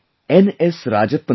S Rajappan Sahab